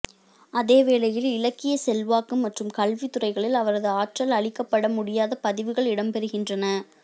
அதேவேளையில் இலக்கியச் செல்வாக்கு மற்றும் கல்வி துறைகளில் அவரது ஆற்றல் அழிக்கப்பட முடியாத பதிவுகள் இடம் பெறுகின்றன